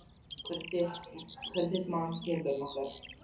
Hvert er þitt mat á tímabilinu ykkar?